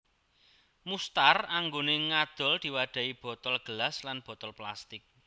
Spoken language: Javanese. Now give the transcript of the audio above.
Mustar anggone ngadol diwadhahi botol gelas lan botol plastik